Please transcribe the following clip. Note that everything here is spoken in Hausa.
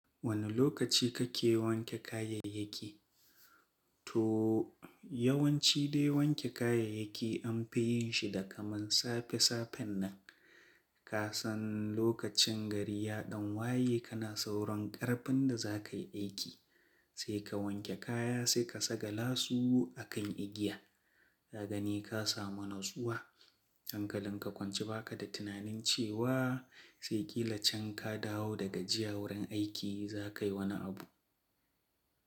Wane lokaci kake wanke kayayyaki? To yawanci dai wanke kayayyaki an fi yin shi da kaman safe-safen nan. Kasan lokacin gari yaɗan waye kana sauran karfin da za ka yi aiki, sai ka wanke kaya, sai ka saƙalasu a kan igiya. Ka gani ka samu natsuwa, hankalin ka kwance ba ka da tunanin cewa sai ƙila can ka dawo daga jiya wurin aiki za ka yi wani abu.